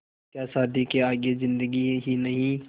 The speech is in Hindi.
क्या शादी के आगे ज़िन्दगी ही नहीं